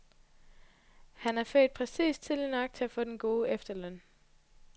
Han er født præcis tidligt nok til at få den gode efterløn.